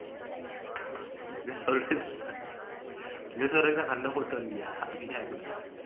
இதை சொல்றதுக்குதான் இதை சொல்றதுக்குதான் சண்டை போட்டுட்டு வந்தியா அபிநயாகூட